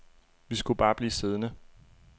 Vi skulle bare blive siddende.